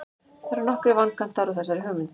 það eru nokkrir vankantar á þessari hugmynd